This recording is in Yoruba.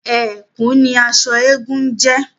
Ẹ̀kú ni aṣọ eégún ń jẹ́